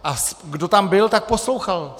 A kdo tam byl, tak poslouchal.